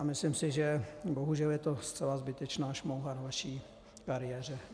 A myslím si, že bohužel je to zcela zbytečná šmouha na vaší kariéře.